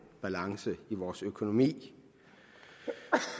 balance i vores økonomi